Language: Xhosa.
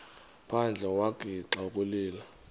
phandle wagixa ukulila